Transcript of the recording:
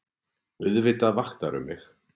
Auðvitað vaktirðu mig.